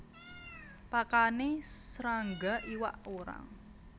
Pakane srangga iwak urang